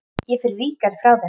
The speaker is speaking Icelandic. Ég fer ríkari frá þeim.